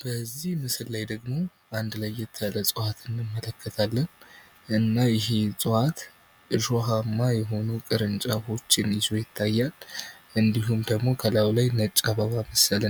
በዚህ ምስል ላይ ደግሞ አንድ ለየት ያለ እጽዋት እንመለከታለን። እና ይህም እጽዋት እሾሃማ የሆነ ቅርንጫፎችን ይዞ ይታያል። እንዲሁም ደግሞ ከላዩ ላይ ነጭ አበባ